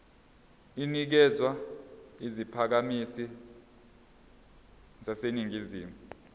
inikezwa izakhamizi zaseningizimu